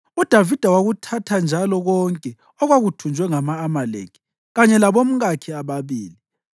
UDavida wakuthatha njalo konke okwakuthunjwe ngama-Amaleki kanye labomkakhe ababili.